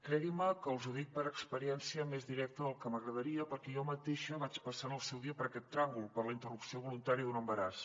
creguin·me que els ho dic per experiència més directa del que m’agradaria perquè jo mateixa vaig passar en el seu dia per aquest tràngol per la interrupció voluntària d’un embaràs